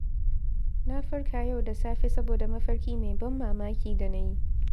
Na farka yau da safe saboda mafarki mai ban mamaki da nayi.